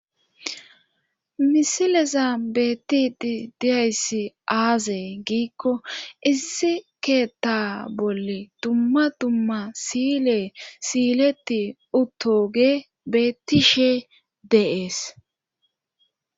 Misileza bettiti diyayssi aazee giikko issi keetta bolle dumma dumma sile siiletti uttoge bettishe deees.